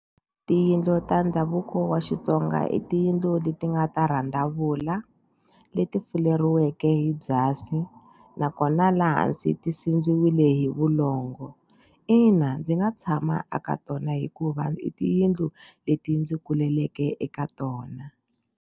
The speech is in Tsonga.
Tiyindlu ta ndhavuko wa Xitsonga i tiyindlu leti nga ta rhandzavula leti fuleriweke hi byasi nakona laha hansi ti sindziwile hi vulongo. Ina, ndzi nga tshama eka tona hikuva i tiyindlu leti ndzi kuleke eka tona.